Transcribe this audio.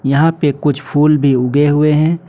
यहां पे कुछ फूल भी उगे हुए है।